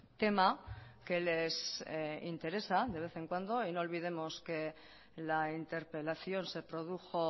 tema que les interesa de vez en cuando y no olvidemos que la interpelación se produjo